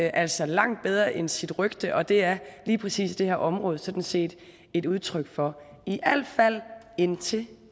altså er langt bedre end sit rygte og det er lige præcis det her område sådan set et udtryk for i al fald indtil